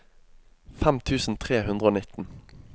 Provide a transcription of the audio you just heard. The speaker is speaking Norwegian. fem tusen tre hundre og nitten